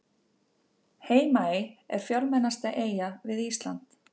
Heimaey er fjölmennasta eyjan við Ísland.